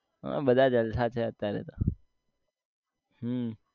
હમ બધા જલસા છે અત્યારે તો હમ